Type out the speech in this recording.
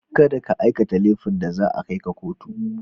Kada ka aikata laifin da za a kai ka kotu.